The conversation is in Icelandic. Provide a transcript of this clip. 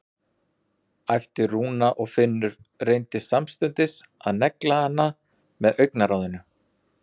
æpti Rúna og Finnur reyndi samstundis að negla hana með augnaráðinu.